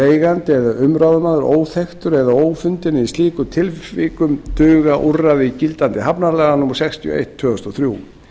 eigandi eða umráðamaður óþekktur eða ófundinn en í slíkum tilvikum duga úrræði gildandi hafnalaga númer sextíu og eitt tvö þúsund og þrjú